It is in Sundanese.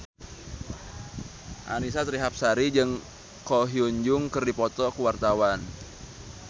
Annisa Trihapsari jeung Ko Hyun Jung keur dipoto ku wartawan